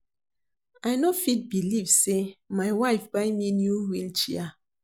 I no fit believe say my wife buy me new wheel chair